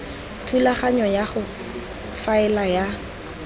thulaganyo ya go faela ya